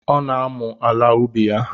Ọ na-amụ ala ubi ya.